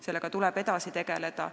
Teemaga tuleb edasi tegeleda.